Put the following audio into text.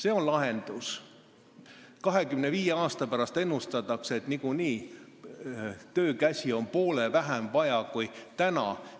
Ennustatakse, et 25 aasta pärast on nagunii töökäsi vaja poole vähem kui täna.